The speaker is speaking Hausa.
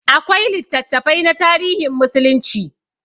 Akwai littattafai na tarihin musulunci.